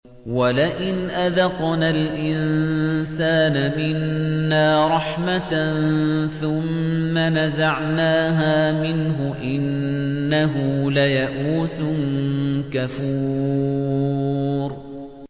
وَلَئِنْ أَذَقْنَا الْإِنسَانَ مِنَّا رَحْمَةً ثُمَّ نَزَعْنَاهَا مِنْهُ إِنَّهُ لَيَئُوسٌ كَفُورٌ